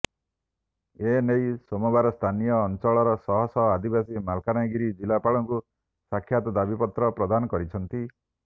ଏନେଇ ସୋମବାର ସ୍ଥାନୀୟ ଅଂଚଳର ଶହ ଶହ ଆଦିବାସୀ ମାଲକାନଗିରି ଜିଲ୍ଲାପାଳଙ୍କୁ ସାକ୍ଷାତ ଦାବିପତ୍ର ପ୍ରଦାନ କରିଛନ୍ତି